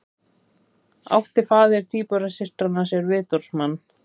Átti faðir tvíburasystranna sér vitorðsmann